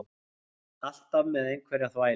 Alltaf með einhverja þvælu.